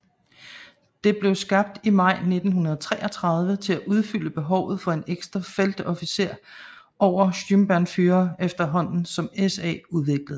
Det blev skabt i maj 1933 til at udfylde behovet for en ekstra feltofficer over Sturmbannführer efterhånden som SA udvikledes